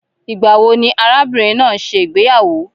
Ìgbà wò ní arábìnrin náà n ṣe ìgbéyàwó?